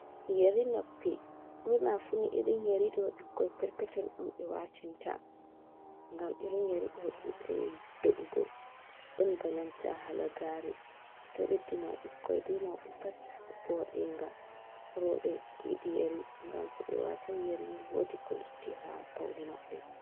Yeri noppi ɓurna funi irin yeriɗo ɓikkoi perpeton on ɓe watinta gam irin yeri ɗo ɗuɗai do’ugo ɗon bananta halagare, ɗo beddina ɓikkoi be mauɓe pat voɗenga roɓɓe yidi yeri gam to ɓe wata yerini wodi ko lotti ha paune maɓɓe.